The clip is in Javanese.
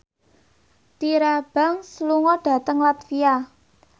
Tyra Banks lunga dhateng latvia